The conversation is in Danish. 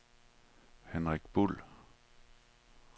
Henrik Buhl